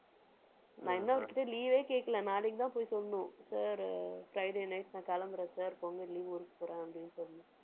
நான் இன்னும் அவர்கிட்ட leave ஏ கேட்கலை. நாளைக்குதான் போய் சொல்லணும் sir அஹ் friday night நான் கிளம்புறேன் sir பொங்கல் leave ஊருக்கு போறேன், அப்படின்னு சொல்லணும்.